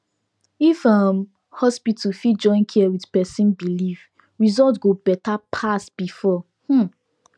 if um hospital fit join care with person belief result go better pass before um